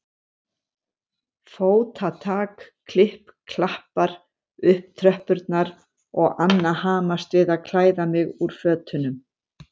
Fótatak klipp-klappar upp tröppurnar og Anna hamast við að klæða mig úr fötunum.